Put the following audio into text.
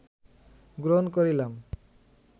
গ্রহন করিলাম